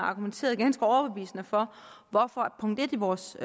argumenteret ganske overbevisende for hvorfor punkt en i vores